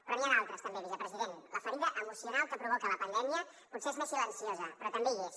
però n’hi ha d’altres també vicepresident la ferida emocional que provoca la pandèmia potser és més silenciosa però també hi és